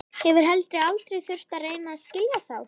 Hefur heldur aldrei þurft að reyna að skilja þá.